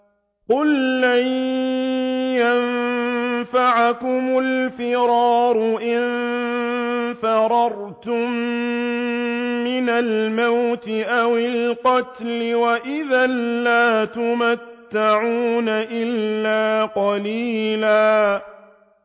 قُل لَّن يَنفَعَكُمُ الْفِرَارُ إِن فَرَرْتُم مِّنَ الْمَوْتِ أَوِ الْقَتْلِ وَإِذًا لَّا تُمَتَّعُونَ إِلَّا قَلِيلًا